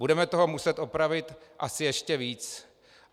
Budeme toho muset opravit asi ještě víc.